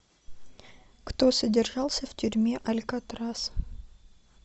кто содержался в тюрьме алькатрас